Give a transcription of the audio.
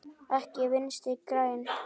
Ekki Vinstri græn.